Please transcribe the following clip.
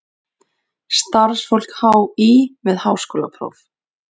Starfsfólk HÍ með háskólapróf.